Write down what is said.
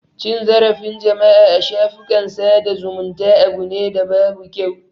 Cin zarafin jama'a a shafukan sada zumunta abu ne da babu kyau.